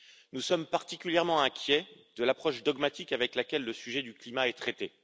Nous sommes particulièrement inquiets de la vision dogmatique avec laquelle le sujet du climat est traité.